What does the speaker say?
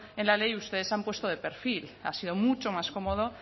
en la ley ustedes se han puesto de perfil ha sido mucho más cómodo